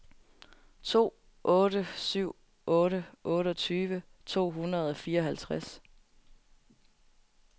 to otte syv otte otteogtyve to hundrede og fireoghalvtreds